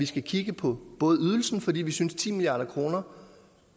skal kigge på ydelsen fordi vi synes at ti milliard kr